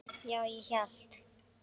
Já, ég hélt.